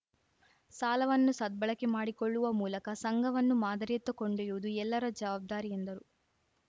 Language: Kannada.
ಸಾಲವನ್ನು ಸದ್ಬಳಕೆ ಮಾಡಿಕೊಳ್ಳುವ ಮೂಲಕ ಸಂಘವನ್ನು ಮಾದರಿಯತ್ತ ಕೊಂಡೊಯ್ಯುವುದು ಎಲ್ಲರ ಜವಾಬ್ದಾರಿ ಎಂದರು